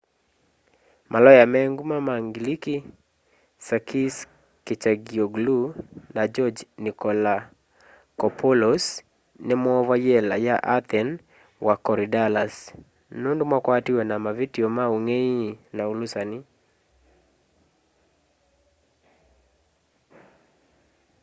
maloya me nguma ma ngiliki sakis kechagioglou na george nikolakopoulos nimoovya y'ela ya athen wa korydallus nundu makwatiwe na mavityo ma ungei na ulusani